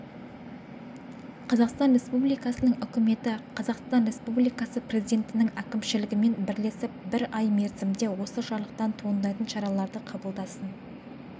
қазақстан республикасының үкіметі қазақстан республикасы президентінің әкімшілігімен бірлесіп бір ай мерзімде осы жарлықтан туындайтын шараларды қабылдасын